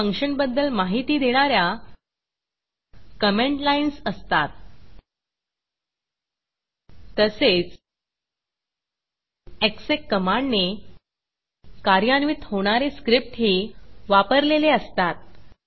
त्यात फंक्शन बद्दल माहिती देणा या कमेंट लाईन्स असतात तसेच EXECएग्ज़ेक कमांडने कार्यान्वित होणारे स्क्रिप्टही वापरलेले असतात